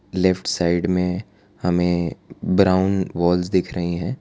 Left side में हमें brown walls दिख रही हैं।